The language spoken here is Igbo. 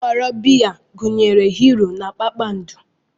Nhọrọ biya gụnyere Hiiro na Kpakpando.